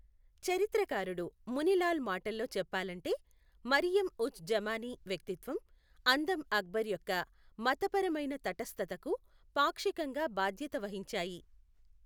చరిత్రకారుడు ముని లాల్ మాటల్లో చెప్పాలంటే, మరియమ్ ఉజ్ జమానీ వ్యక్తిత్వం, అందం అక్బర్ యొక్క మతపరమైన తటస్థతకు పాక్షికంగా బాధ్యత వహించాయి.